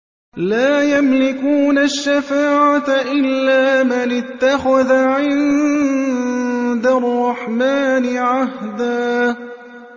لَّا يَمْلِكُونَ الشَّفَاعَةَ إِلَّا مَنِ اتَّخَذَ عِندَ الرَّحْمَٰنِ عَهْدًا